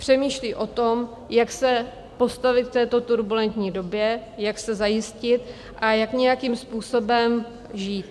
Přemýšlí o tom, jak se postavit v této turbulentní době, jak se zajistit a jak nějakým způsobem žít.